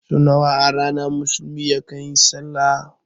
Sau nawa a rana musulmi yakan yi sallah?